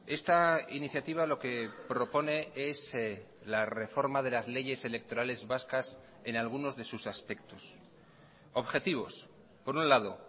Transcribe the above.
esta iniciativa lo que propone es la reforma de las leyes electorales vascas en algunos de sus aspectos objetivos por un lado